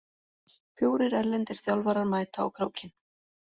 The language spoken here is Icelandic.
Fjórir erlendir þjálfarar mæta á Krókinn